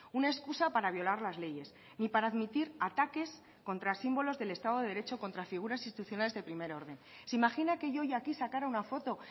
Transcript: una excusa para violar las leyes ni para admitir ataques contra símbolos del estado de derecho contra figuras institucionales de primer orden se imagina que yo hoy aquí sacara una foto